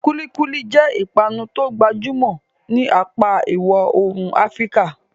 Kulikuli jẹ́ ìpanu tó gbajúmọ̀ ní apá ìwọ̀ oòrùn Afíríkà.